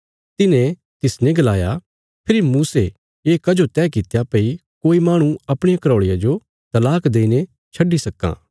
तिन्हें तिसने गलाया फेरी मूसे ये कजो तह कित्या भई कोई माहणु अपणिया घराऔल़िया जो तलाक देईने छड्डी सक्कां